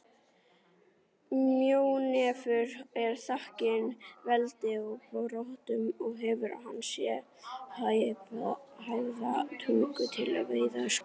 Mjónefur er þakinn feldi og broddum og hefur hann sérhæfða tungu til að veiða skordýr.